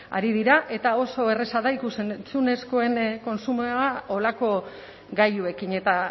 ari dira eta oso erraza da ikus entzunezkoen kontsumoa horrelako gailuekin eta